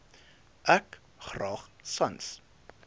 ek graag sans